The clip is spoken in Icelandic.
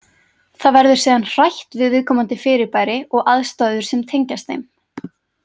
Það verður síðan hrætt við viðkomandi fyrirbæri og aðstæður sem tengjast þeim.